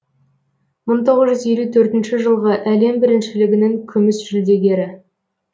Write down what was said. мың тоғыз жүз елу төртінші жылғы әлем біріншілігінің күміс жүлдегері